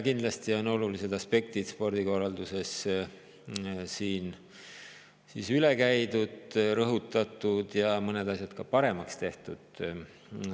Kindlasti on olulised aspektid spordikorralduses siin üle käidud, rõhutatud ja mõned asjad ka paremaks tehtud.